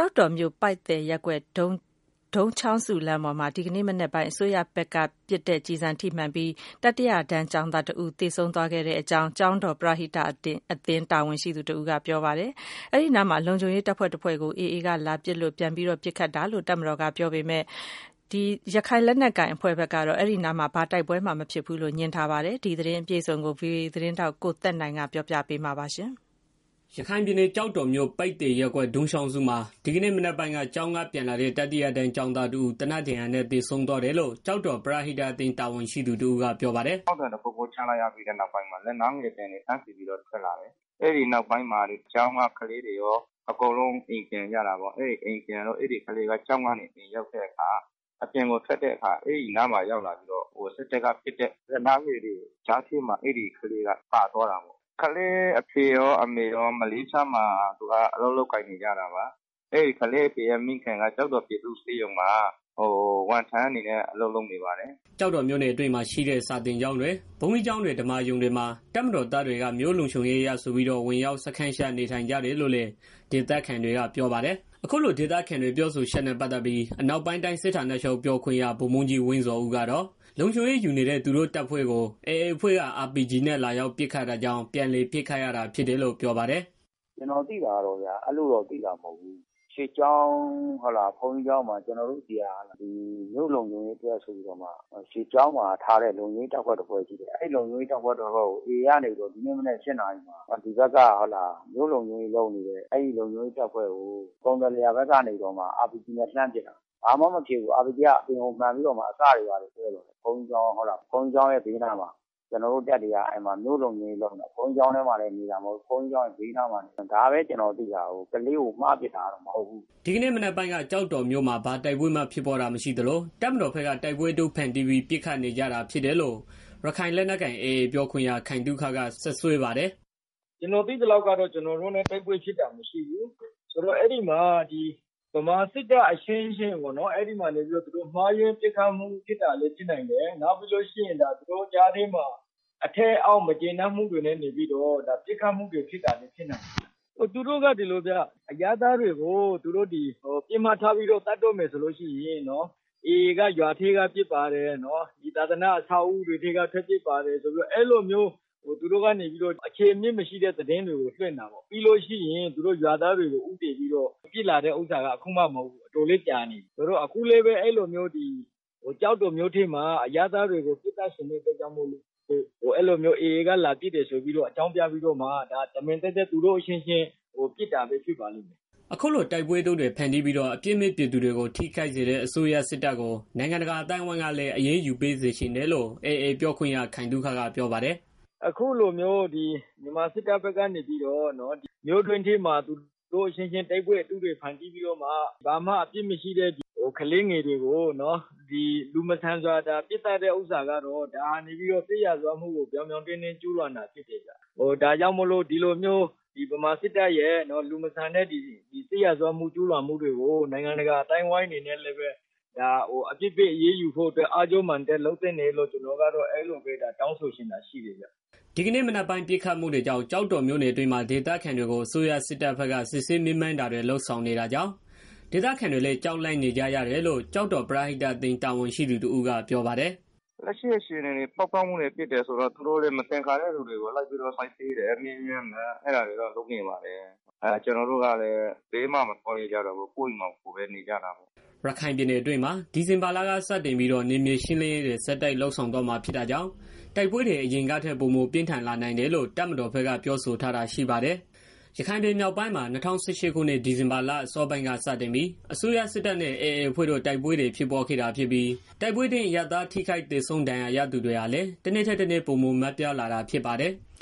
ောက်တော်မြို့ ပိုက်သယ်ရပ်ကွက် ဒုံးချောင်းစုလမ်းပေါ်မှာ ဒီကနေ့မနက်ပိုင်းက တတိယတန်း ကျောင်းသားတစ်ဦးကို သေနတ်ဒဏ်ရာနဲ့ သေဆုံးသွားခဲ့တယ်လို့ ကျောက်တော်ပရဟိတအသင်း တာဝန်ရှိသူတစ်ဦးကပြောပါတယ်။ တော်မတော်ဘက်ကတော့ အဲဒီအနားမှာ လုံခြုံရေး တပ်ဖွဲ့တစ်ခုကို AAက လာရောက်ပစ်ခတ်တာကြောင့် ပြန်လည်ပစ်ခတ်ရတာဖြစ်တယ်လို့ ပြောပါ တယ်။ ရခိုင်လက်နက်ကိုင် AAအဖွဲ့ကတော့ အဲဒီအနားမှာ ဘာတိုက်ပွဲမှ ဖြစ်ပွားတာမရှိဘူးလို့ ငြင်းဆိုထားပါတယ်။ ဒီသတင်းအပြည့်အစုံကိုတော့ ဗွီအိုအေ သတင်းထောက် ကိုသက်နိုင်က ပြောပြပေးမှာပါ။ ရခိုင်ပြည်နယ် ကျောက်တော်မြို့ ပိုက်သယ်ရပ်ကွက် ဒုံးချောင်းစုမှာ ဒီကနေ့မနက်ပိုင်းက ကျောင်းက ပြန်လာတဲ့ တတိယတန်းကျောင်းသားတစ်ဦး သေနတ်ဒါဏ်ရာနဲ့သေဆုံးသွားတယ်လို့ ကျောက်တော် ပရသိတအသင်း တာဝန်ရှိသူ တစ်ဦးက ပြောပါတယ်။ “ဒီနေ့မနက်ကပိုင်းက ပေါက်ကွဲသံ တစ်ခုခုတော့ ကြားလိုက်ရတယ် ကျနော်တို့ပြည်သူတွေက အဲအသံကြားပြီးတဲ့နောက်မှာ လက်နက်ငယ်သံတွေ တန်းစီပြီးတော့ ထွက်လာတယ်။ အဲဒီနောက်ပိုင်း ကျောင်းကလေးတွေ အကုန်လုံးအိမ်ပြန်ကြတာပေါ့။ အဲဒီကလေးက ကျောင်းကနေ အိမ်ကို ရောက်တဲ့ခါ အပြင်ကိုထွက်ရင်း စစ်တပ်က ပစ်တဲ့ လက်နက်ကငယ်တွေ ကြားထဲမှာ အဲကလေးက ပါသွားတာပေါ့။ ကလေးအဖေရော အမေရော မလေးရှားမှာ အလုပ်လုပ်ကိုင်နေကြတာပါ။ သူက အဘွားနဲ့နေတာ။ သူ့အဘွားက ကျောက်တော် ပြည်သူ့ဆေးရုံမှာ ဝန်ထမ်းအနေနဲ့ အလုပ်လုပ်နေတာပါ။” ကျောက်တော်မြို့နယ်အတွင်းမှာ ရှိတဲ့ စာသင်ကျောင်းတွေ၊ ဘုန်းကြီးကျောင်းတွေ ဓမ္မာရုံတွေမှာ တပ်မတော် သား တွေက မြို့လုံခြုံရေးအရဆိုပြီးတော့ ဝင်ရောက်စခန်းချနေထိုင်ကြတယ်လို့လည်း ဒေသခံ တွေက ပြောပါ တယ်။ အခုလိုဒေသခံတွေ ပြောဆိုချက်နဲ့ ပတ်သတ်ပြီး အနောက်ပိုင်းတိုင်းစစ်ဌာနချုပ် ပြောခွင့်ရ ဗိုလ်ဗှူးကြီး ဝင်းဇော်ဦးကတော့ လုံခြုံရေး ယူနေတဲ့ သူတို့တပ်ဖွဲ့ကို AAအဖွဲ့က RPG နဲ့ လာရောက်ပစ်ခတ်တာကြောင့် ပြန်လည် ပစ်ခတ်ရတာ ဖြစ်တယ်လို့ ပြောပါတယ်။ “ကျနော်သိတာကတော့ အဲလိုမျိုးသိတာမဟုတ်ဘူး ကျနော်တို့ ရွေကျောင်း ဘုန်းကြီးကျောင်းမှာ မြို့လုံခြုံရေး အတွက်ဆိုပြီးတော့ ထားထားတဲ့ လုံခြုံရေး အဖွဲ့တစ်ဖွဲ့ရှိတယ်။ အဲဒီလုံခြုံရေး တပ်ဖွဲ့ကို AAကနေပြီးတော့ ဒီနေ့မနက် ၈နာရီမှာ လုံခြုံရေး တပ်ဖွဲ့ကို ကုန်သယ်လယ်ယာဖက်ကနေပြီးတော့ RPGနဲ့ လှမ်းပစ်တာ။ လာမှ တော့ မဖြစ်ဘူး RPDကအပြင်ကို မှန်ပြီးတော့ အစပ်တွေလောက်ပဲထိတာ။ တပ်ကလည် ဘုန်းကြီးကျောင်း ဘေးနားမှာနေတဲ့ တပ် ဘုန်းကြီးကျောင်း ဘေးနားမှာနေတာ။ ဒါပဲကျနော်သိတာ ကလေးကို မှားပစ်တာလည်း မဟုတ်ဘူး ပစ်လည်း မပစ်ဘူး။” ဒီကနေ့မနက်ပိုင်းက ကျောက်တော်မြို့မှာ ဘာတိုက်ပွဲမှဖြစ်ပွားတာမရှိသလို တပ်မတော်က တိုက်ပွဲအတုဖန်တီးပြီး ပစ်ခတ်နေကြတာဖြစ် တယ်လို့ ရခိုင်လက်နက်ကိုင်AAပြောခွင့်ရ ခိုင်သုခက စွပ်စွဲပါ တယ်။ “ကျနော်သိသလောက်ကတော့ ကျနော်တို့နဲ့ တိုက်ပွဲဖြစ်တာမရှိဘူး။ အဲဒီမှာ ဗမာစစ်တပ်အချင်းချင်း မှားယွင်းပစ်ခတ်တာလည်း ဖြစ်နိုင်တယ်။ နောက်ပြီးတော့ သူတို့ ကြားထဲမှာ အထက်အောက် မကျေနပ်မှုတွေလည်း ဖြစ်နိုင်တယ်။ သူတို့က ဒီလိုဗျာ အရပ်သားတွေကို ပစ်မှတ်ထားပြီးတော့ သတ်တော့မယ် ဆိုရင် AAက ရွာထဲက ပစ်ပါတယ်။ သာသန အဆောက်အဦးတွေက ပစ်ပါတယ်ဆိုပြီးတော့ အဲလိုမျိုး သူတို့ကနေပြီးတော့ အခြေအမြစ်မရှိတဲ့ သတင်းတွေကို လွင့်တာပေါ့။ ပြီးလို့ရှိရင် အဲလို ရွာသားတွေကို ဦးတည်ပြီး ပစ်လာတာက အခုမှမဟုတ်ဘူး။ တော်တော်ကြာနေပြီ။ အဲလိုမျိုး ကျော်တော်မြို့ထဲမှာ အရပ်သား တွေကို ပစ်သတ်ချင်တာကြောင့် AAကလာပစ်တယ်ဆိုပြီးတော့ အကြောင်းပြပြီး သူတို့အချင်းချင်း ပစ်ကြတာပဲ ဖြစ်လိမ့်မယ်။” အခုလို တိုက်ပွဲအတုတွေ ဖန်တီးပြီးတော့ အပြစ်မယ့် ပြည်သူတွေကို ထိခိုက်စေတဲ့ အစိုးရစစ်တပ်ကို နိုင်ငံတကာ အသိုင်းအဝိုင်းကလည်း အရေးယူပေးစေချင်တယ်လို့ AAပြောခွင့်ရ ခိုင်သုခက ပြောပါတယ်။ “အခုလိုမျိုး ဗမာစစ်တပ်ဖက်ကနေပြီးတော့ မြို့တွင်းထဲမှာ သူတု့ိအချင်းချင်း တိုက်ပွဲတွေ ဖန်တီးပြီးတော့မှ ဘာမှအပြစ်မရှိတဲ့ ကလေးသငယ်တွေကို လူမဆန်စွာပစ်သတ်တဲ့ ဟာကတော့ ဒါက စစ်ရာဇဝတ်မှုကို ပြောင်ပြောင်တင်းတင်း ကြူးလွန်တာ ဖြစ်တယ်ဗျာ။ ဒါကြောင့် ဗမာစစ်တပ်ရဲ့ စစ်ရာဇတ်ဝမှုတွေကို နိုင်ငံတကာ အသိုင်းအဝိုင်းကနေပြီးတော့ အရေးယူဖို့အတွက် အားကျိုးမာန်တက် လုပ်သင့်တယ်လို့ ကျနော်တို့ကတော့ တောင်းဆိုချင်တယ်ဗျာ။” ဒီကနေ့မနက်ပိုင်း ပစ်ခတ်မှုတွေကြောင့် ကျောက်တော်မြို့တွင်းမှာ ဒေသခံတွေကို အစိုးရစစ်တပ်ဘက်က စစ်ဆေးမေးမြန်းတာတွေ လုပ်ဆောင်နေတာကြောင့် ဒေသခံတွေလည်း ကြောက်လန့်နေကြရတယ်လို့ ကျောက်တော်ပရဟိတအသင်း တာဝန်ရှိသူတစ်ဦးကပြောပါတယ်။ “လက်ရှိအခြေအနေကတော့ ပေါက်ကွဲမှုဖြစ်တယ်ဆိုတော့ သူတို့လည်း မသင်္ကာတဲ့ သူတွေကို လိုက်ပြီးတော့ စစ်ဆေးတယ်။မေးမြန်းတယ် အဲတာတွေတော့ လုပ်နေပါတယ်။ ကျနော်တို့ကလည်း ဘယ်မှမသွားရဲကျတော့ပဲ ကိုယ့်အိမ်မှာ ကိုယ်နေကြတာပေါ့။” ရခိုင်ပြည်နယ်တွင်းမှာ ဒီဇင်ဘာလကစတင်ပြီးတော့ နယ်မြေရှင်းလင်းရေးတွေ ဆက်တိုက်လုပ်ဆောင်သွားမှာ ဖြစ်တာကြောင့် တိုက်ပွဲတွေ အရင်ကထက် ပိုမိုပြင်းထန်လာနိုင်တယ်လို့ တပ်မတော်ဘက်က ပြောဆိုထား တာရှိပါတယ်။ ရခိုင်ပြည် မြောက်ပိုင်းမှာ ၂၀၁၈ ခုနှစ် ဒီဇင်ဘာလ အစောပိုင်းက စတင်ပြီး အစိုးရစစ်တပ်နဲ့ AA အဖွဲ့တို့ တိုက်ပွဲတွေ ဖြစ်ပွားခဲ့တာဖြစ်ပြီး တိုက်ပွဲအတွင်း အရပ်သားထိခိုက်သေဆုံး ဒဏ်ရာရသူတွေဟာလည်း တစ်နေ့ ထက်တစ်နေ့ ပိုမိုများပြားလာတာဖြစ်ပါတယ်။